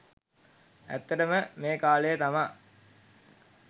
ඇත්තට ම මේ කාලය තමා